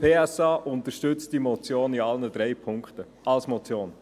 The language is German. Die SP-JUSO-PSA unterstützt die Motion in allen drei Punkten als Motion.